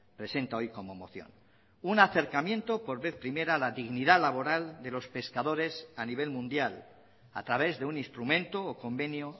presenta hoy como moción un acercamiento por vez primera a la dignidad laboral de los pescadores a nivel mundial a través de un instrumento o convenio